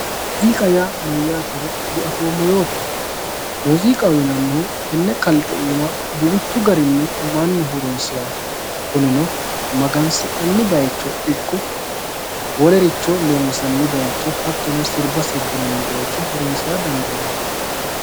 Muziiqa yaa mayyatero diafoommo yootto, muziiqaho yinannihu tene kalqe iima duuchu garinni mannu horonsirano kunino magansi'nanni bayicho ikko wolericho loonsanni bayicho hattono sirba sirbinanni bayicho horonsira dandiinanni.